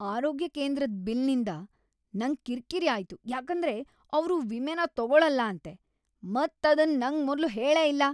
ಆರೋಗ್ಯ ಕೇಂದ್ರದ್ ಬಿಲ್ ನಿಂದ್ ನಂಗ್ ಕಿರ್ಕಿರಿ ಆಯ್ತು ಯಾಕಂದ್ರೆ ಅವ್ರು ವಿಮೆನ ತಗೋಳಲ್ಲ ಅಂತೆ, ಮತ್ ಅದನ್ ನಂಗ್ ಮೊದ್ಲು ಹೇಳೇ ಇಲ್ಲ.